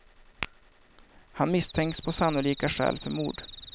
Han misstänks på sannolika skäl för mord.